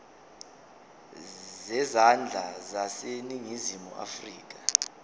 zezandla zaseningizimu afrika